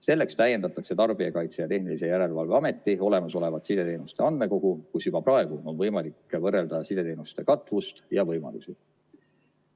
Selleks täiendatakse Tarbijakaitse ja Tehnilise Järelevalve Ameti olemasolevat sideteenuste andmekogu, kus juba praegu on võimalik võrrelda sideteenuste katvust ja võimalusi.